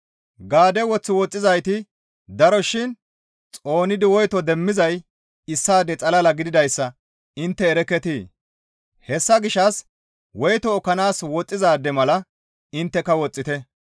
Gaadde woth woxxizayti daro shin xoonidi woyto demmizay issaade xalala gididayssa intte erekketii? Hessa gishshas woyto ekkanaas woxxizaade mala intteka woxxite.